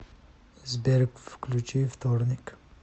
сбер включи вторник